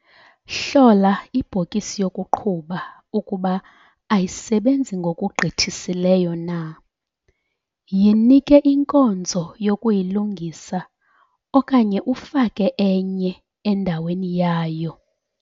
Hlola ibhokisi yokuqhuba ukuba ayisebenzi ngokugqithisileyo na - yinike inkonzo yokuyilungisa okanye ufake enye endaweni yayo.